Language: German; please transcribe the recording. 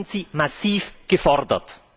Da sind Sie massiv gefordert!